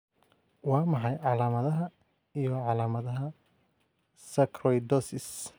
Waa maxay calaamadaha iyo calaamadaha Sarcoidosis?